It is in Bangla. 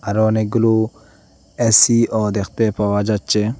আরও অনেকগুলো এসিও দেখতে পাওয়া যাচ্ছে।